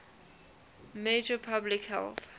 major public health